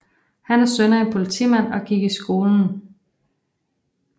Han er søn af en politimand og gik i skolen Dr